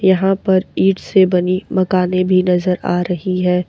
यहां पर ईट से बनी मकाने भी नजर आ रही है।